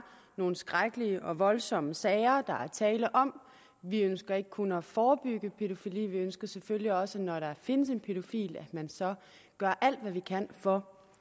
nogle skrækkelige og voldsomme sager der er tale om vi ønsker ikke kun at forebygge pædofili vi ønsker selvfølgelig også når der findes en pædofil gør alt hvad man kan for